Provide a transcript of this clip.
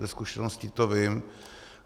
Ze zkušeností to vím.